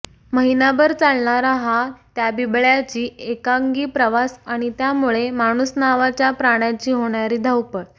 महिनाभर चालणारा हा त्या बिबळ्याची एकांगी प्रवास आणि त्यामुळे माणुस नावाच्या प्राण्याची होणारी धावपळ